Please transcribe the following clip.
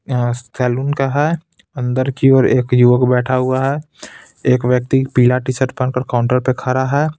अह salon का है अंदर की ओर एक युवक बैठा हुआ है एक व्यक्ति पीला टी शर्ट पहनकर काउंटर पे खड़ा है.